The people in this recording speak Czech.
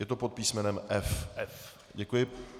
Je to pod písmenem F? Děkuji.